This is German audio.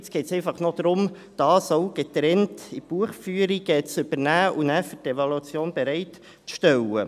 Nun geht es einfach noch darum, dies auch getrennt in die Buchführung zu übernehmen und danach für die Evaluation bereitzustellen.